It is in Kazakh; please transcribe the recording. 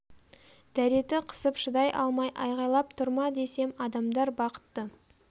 дәреті қысып шыдай алмай айғайлап тұр ма десем адамдар бақытты